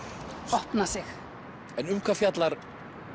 opna sig en um hvað fjallar